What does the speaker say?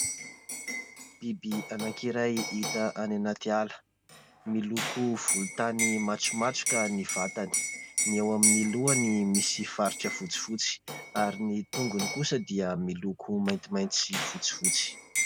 Biby anankiray hita any anaty ala. Miloko volontany matromatroka ny vatany, ny ao amin'ny lohany misy faritra fotsifotsy ary ny tongony kosa dia miloko maintimainty sy fotsifotsy.